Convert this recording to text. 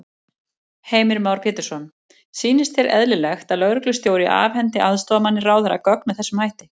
Heimir Már Pétursson: Sýnist þér eðlilegt að lögreglustjóri afhendi aðstoðarmanni ráðherra gögn með þessum hætti?